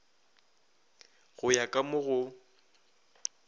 go ya ka mo go